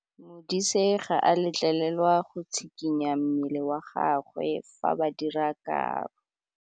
Modise ga a letlelelwa go tshikinya mmele wa gagwe fa ba dira karô.